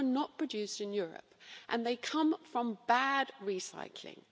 They were not produced in Europe, and they come from bad recycling.